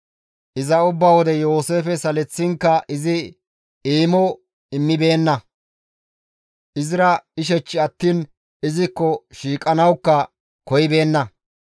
Iza ubba wode Yooseefe saleththinkka izi eemo immibeenna; izira ishech attiin izikko shiiqanawukka koyibeenna.